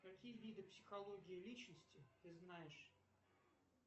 какие виды психологии личности ты знаешь